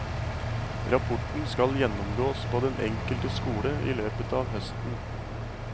Rapporten skal gjennomgås på den enkelte skole i løpet av høsten.